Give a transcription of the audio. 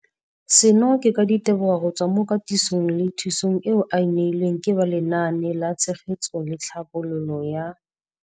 Seno ke ka ditebogo go tswa mo katisong le thu song eo a e neilweng ke ba Lenaane la Tshegetso le Tlhabololo ya